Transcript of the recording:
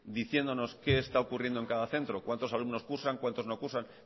diciendo qué está ocurriendo en cada centro cuántos alumnos cursan cuántos no cursan